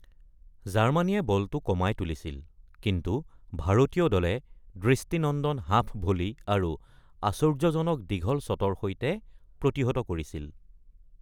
জাৰ্মানীয়ে বলটো কমাই তুলিছিল, কিন্তু ভাৰতীয় দলে দৃষ্টিনন্দন হাফ-ভলি আৰু আশ্চৰ্যজনক দীঘল শ্বটৰ সৈতে প্ৰতিহত কৰিছিল।